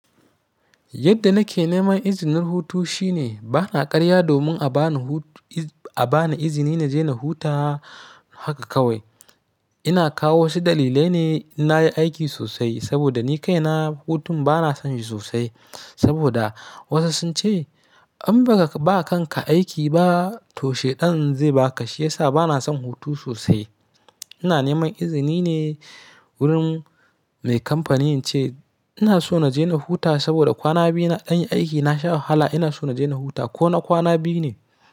Yadda nake neman izinin hutu shine bana karya domin abani hutu iz a bani izini na je na huta haka kawai. Ina kawo wasu dalilai ne na yi aiki sosai saboda ni kaina hutun bana son shi sosai. Saboda wasu sun ce an baka ba kan ka aiki ba to sheɗan zai ba ka shiyasa bana son hutu sosai. Ina neman izini ne wurin mai kamfanin ce ina so na je na huta saboda kwana biyu na ɗan yi aiki na sha wahala ina so na je na huta ko na kwana biyu ne.